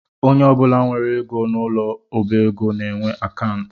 Onye ọbụla nwere ego n’ụlọ ọbaego na-enwe akantụ